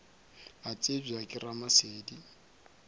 a tsebja ke ramasedi a